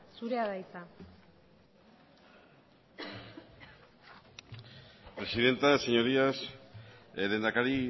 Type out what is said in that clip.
zurea da hitza presidenta señorías lehendakari